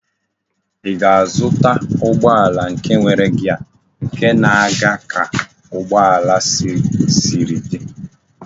Í ga-azụta ụgbọala nke nwere gear nke na aga ka ugbo ala Siri di?